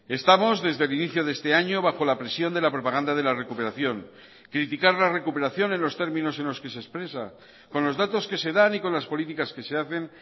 estamos desde el inicio de este año bajo la presión de la propaganda de la recuperación criticar la recuperación en los términos en los que se expresa con los datos que se dan y con las políticas que se hacen